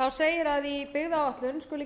þá segir að í byggðaáætlun skuli gerð